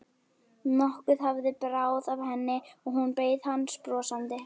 Nokkuð hafði bráð af henni og hún beið hans brosandi.